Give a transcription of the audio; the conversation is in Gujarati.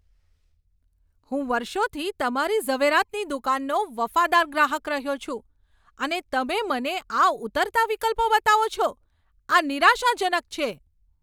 હું વર્ષોથી તમારી ઝવેરાતની દુકાનનો વફાદાર ગ્રાહક રહ્યો છું, અને તમે મને આ ઉતરતા વિકલ્પો બતાવો છો? આ નિરાશાજનક છે.